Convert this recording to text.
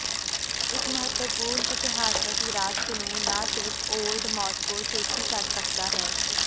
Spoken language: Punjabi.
ਇੱਕ ਮਹੱਤਵਪੂਰਨ ਇਤਿਹਾਸਕ ਵਿਰਾਸਤ ਨੂੰ ਨਾ ਸਿਰਫ਼ ਓਲਡ ਮਾਸ੍ਕੋ ਸ਼ੇਖੀ ਕਰ ਸਕਦਾ ਹੈ